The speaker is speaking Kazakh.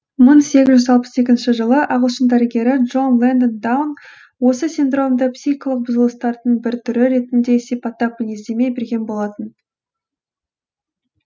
мың сегіз жүз алпыс екінші жылы ағылшын дәрігері джон лэнгдон даун осы синдромды психикалық бұзылыстардың бір түрі ретінде сипаттап мінездеме берген болатын